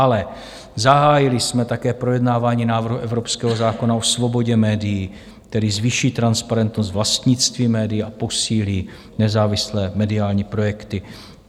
Ale zahájili jsme také projednávání návrhu evropského zákona o svobodě médií, který zvýší transparentnost vlastnictví médií a posílí nezávislé mediální projekty.